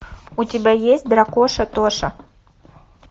у тебя есть дракоша тоша